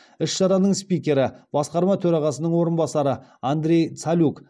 іс шараның спикері басқарма төрағасының орынбасары андрей цалюк